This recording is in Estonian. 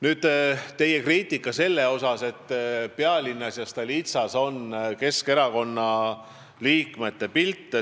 Nüüd teie kriitikast selle kohta, et Pealinnas ja Stolitsas on Keskerakonna liikmete pilte.